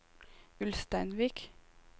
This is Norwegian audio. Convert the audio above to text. Ulsteinvik